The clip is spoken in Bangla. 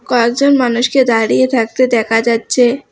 পাঁচজন মানুষকে দাঁড়িয়ে থাকতে দেকা যাচ্ছে।